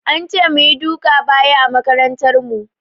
An ce mu yi duka baya a makarantar mu.